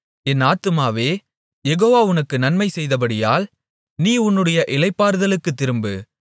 என் ஆத்துமாவே யெகோவா உனக்கு நன்மை செய்தபடியால் நீ உன்னுடைய இளைப்பாறுதலுக்குத் திரும்பு